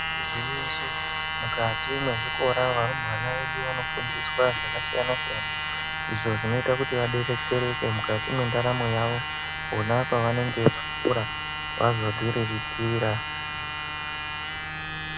Igwinyiso mukati mwe zvikora varumbwana vedu vanofundiswa zvaka siyana siyana izvo zvinoita kuti va detsereke mukati mwe ndaramo yavo pona vanenge vari ku chikora vazodzi riritira.